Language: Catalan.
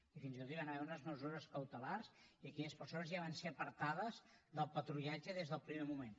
i fins i tot hi van haver unes mesures cautelars i aquelles persones ja van ser apartades del patrullatge des del primer moment